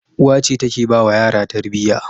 Uwa ce take bawa yara Tarbiyya